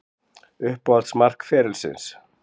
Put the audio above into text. Uppáhalds mark ferilsins?